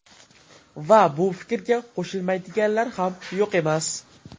Va bu fikrga qo‘shilmaydiganlar ham yo‘q emas.